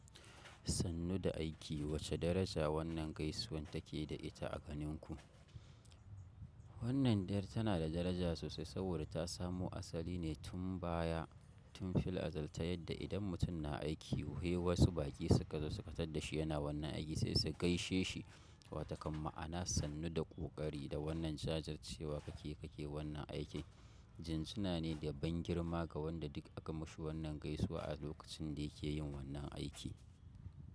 Sannu da aiki wacce daraja wannan gaisuwan take da ita a ganin ku? Wannan dar tana da daraja sosai saboda ta samo asali ne tun baya. Tun fil azal ta yadda idan mutum na aiki he wasu baƙi suka zo su ka tadda shi yana wannan aiki sai su gaishe shi. Watakan ma'ana sannu da ƙoƙari da wannan jajircewa kake kake wannan aiki. Jinjina ne da ban girma ga wanda duk aka mashi wannan gaisuwa a lokacin da yake yin wannan aiki.